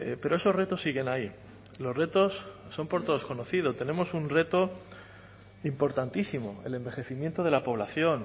pero esos retos siguen ahí los retos son por todos conocidos tenemos un reto importantísimo el envejecimiento de la población